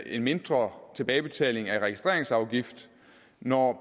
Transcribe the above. en mindre tilbagebetaling af registreringsafgift når